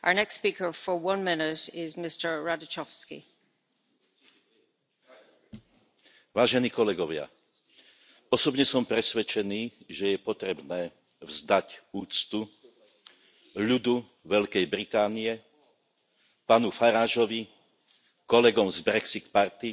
Vážená pani predsedajúca, vážení kolegovia, osobne som presvedčený, že je potrebné vzdať úctu ľudu Veľkej Británie, pánu Faragovi, kolegom z Brexit Party zato,